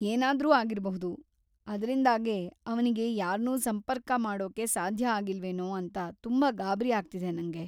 ಏನಾದ್ರೂ ಆಗಿರ್ಬಹುದು, ಅದ್ರಿಂದಾಗೇ ಅವ್ನಿಗೆ ಯಾರ್ನೂ ಸಂಪರ್ಕ ಮಾಡೋಕೆ ಸಾಧ್ಯ ಆಗಿಲ್ವೇನೋ ಅಂತ ತುಂಬಾ ಗಾಬ್ರಿ ಆಗ್ತಿದೆ ನಂಗೆ.